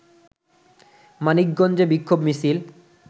মানিকগঞ্জে বিক্ষোভ মিছিল